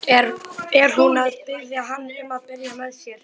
Er hún að biðja hann um að byrja með sér?